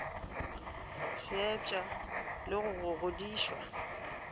fepša le go go godišwa